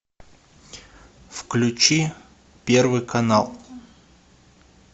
включи первый канал